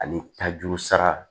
Ani tajuru sara